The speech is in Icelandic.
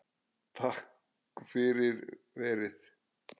Takk fyrir verið